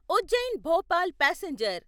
Ujjain Bhopal passenger